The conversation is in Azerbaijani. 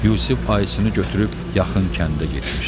Yusif Ayısını götürüb yaxın kəndə getmişdi.